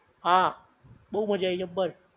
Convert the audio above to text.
હા બોવ મજા આઈ જબ્બર